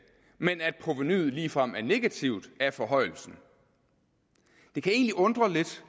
men at provenuet ligefrem er negativt som af forhøjelsen det kan egentlig undre lidt